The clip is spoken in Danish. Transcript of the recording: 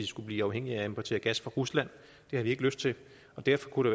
skulle blive afhængige af at importere gas fra rusland det har vi ikke lyst til derfor kunne